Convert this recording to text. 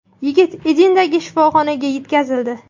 Yigit Edindagi shifoxonaga yetkazildi.